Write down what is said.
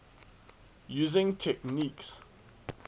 using techniques